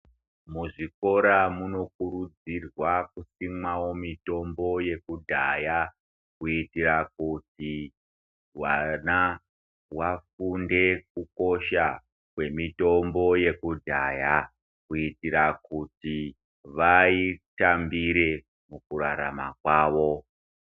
Muzvikora munokurudzirwa kusimwawo mitombo yekudhaya ,kuitira kuti vana vafunde kukosha kwemitombo yekudhaya, kuitira kuti vaitambire mukurarama kwavo.